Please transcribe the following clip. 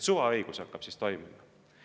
Suvaõigus hakkab siis toimima.